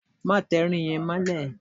Má tẹ irin yẹn mọ́lẹ̀!